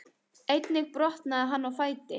Einnig brotnaði hann á fæti